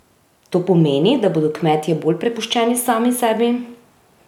To pomeni, da bodo kmetje bolj prepuščeni sami sebi?